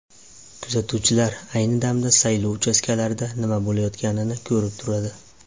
Kuzatuvchilar ayni damda saylov uchastkalarida nima bo‘layotganini ko‘rib turadi.